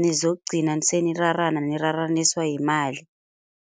nizokugcina senirarana niraraniswa yimali.